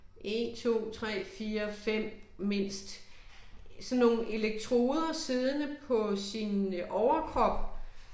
1 2 3 4 5 mindst sådan nogle eleketroder siddende på sin øh overkrop